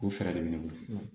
O fɛɛrɛ de bɛ ne bolo